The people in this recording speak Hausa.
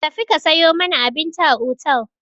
Tafi ka sayo mana abinci a otel!